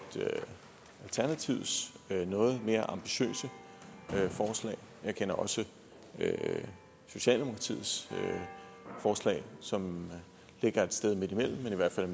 alternativets noget mere ambitiøse forslag jeg kender også socialdemokratiets forslag som ligger et sted midtimellem men i hvert fald